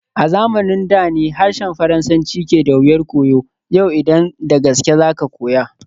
A zamanin da ne harshen Faransanci ke da wuyar koyo, yau idan da gaske za ka koya.